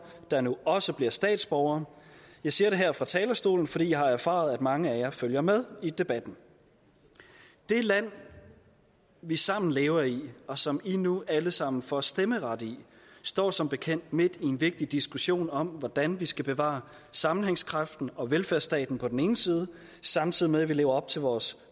der nu også bliver statsborgere jeg siger det her fra talerstolen fordi jeg har erfaret at mange af jer følger med i debatten det land vi sammen lever i og som i nu alle sammen får stemmeret i står som bekendt midt i en vigtig diskussion om hvordan vi skal bevare sammenhængskraften og velfærdsstaten på den ene side samtidig med at vi lever op til vores